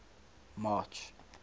march